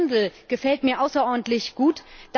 oder Ihr Dirndl gefällt mir außerordentlich gut!?